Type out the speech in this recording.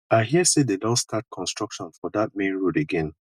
i hear say dem don start construction for dat main road again